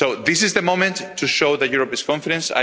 So this is the moment to show that Europe is confident.